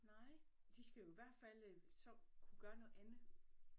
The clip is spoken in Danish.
Nej de skal jo i hvert fald øh så kunne gøre noget andet